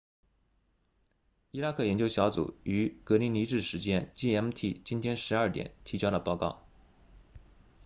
伊拉克研究小组于格林尼治时间 gmt 今天12点提交了报告